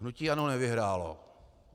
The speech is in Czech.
Hnutí ANO nevyhrálo.